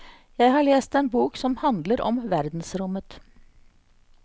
Jeg har lest en bok som handler om verdensrommet.